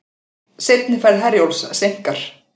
Seinni ferð Herjólfs seinkar